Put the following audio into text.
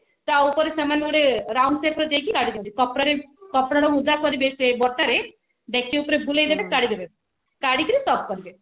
ଟା ଉପରେ ସେମାନେ round shape ରେ ଦେଇକି କାଢି ଦିଅନ୍ତି ତ ଅପରେ କପଡା କୁ ଓଦା କରିବେ ସେ ଡେକଚି ଉପରେ ବୁଲିଦେବେ କାଢିଦେବେ କାଢିକିରି served କରିବେ